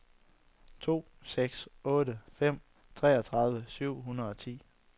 to seks otte fem treogtredive syv hundrede og ti